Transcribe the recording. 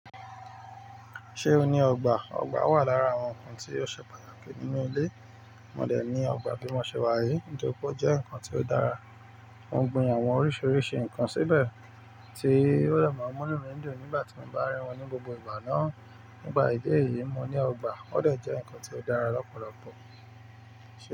Ṣé o ní ọgbà? Ọgbà wà lára àwọn ǹkan tí ó ṣe pàtàkì nínú ilé. Wọ́n dẹ̀ ní ọgbà bí wọ́n ṣe wá èyí nítorí pé ó jẹ́ ǹkan tí ó dára. Mo gbin àwọn oríṣiríṣi ǹkan síbẹ̀ tí ò dè má mú nú mi dùn nígbà tí mo bá rí wọn ní gbogbo ìgbà náà. Ní pà ìdí èyí, mo ní ọgbà. Ó dẹ̀ jẹ́ ǹkan tí ó dára lọ́pọ̀lọpọ̀. Ṣé.